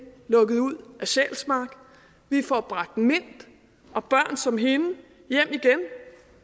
lukket ud af sjælsmark og vi får bragt mint og børn som hende hjem igen